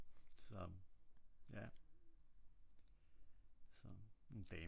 Så ja så en damecykel